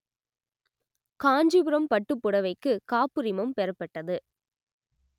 காஞ்சிபுரம் பட்டுப்புடவைக்கு காப்புரிமம் பெறப்பட்டது